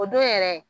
O don yɛrɛ